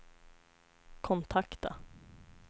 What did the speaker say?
kontakta